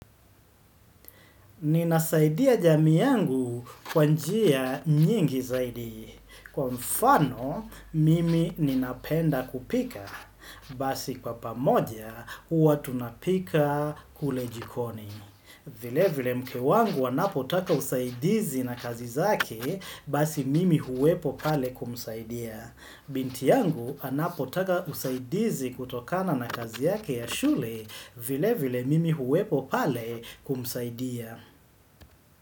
Ninasaidia jami yangu kwanjia nyingi zaidi. Kwa mfano, mimi ninapenda kupika. Basi kwa pamoja, uwa tunapika kule jikoni. Vile vile mke wangu anapotaka usaidizi na kazi zake basi mimi huwepo pale kumsaidia. Binti yangu anapotaka usaidizi kutokana na kazi yake ya shule vile vile mimi huwepo pale kumsaidia.